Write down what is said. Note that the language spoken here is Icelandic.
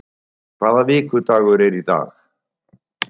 Ári, hvaða vikudagur er í dag?